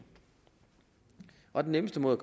og den nemmeste måde